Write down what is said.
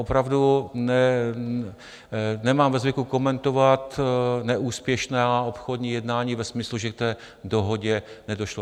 Opravdu nemám ve zvyku komentovat neúspěšná obchodní jednání ve smyslu, že k té dohodě nedošlo.